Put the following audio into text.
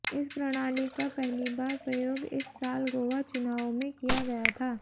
इस प्रणाली का पहली बार प्रयोग इस साल गोवा चुनावों में किया गया था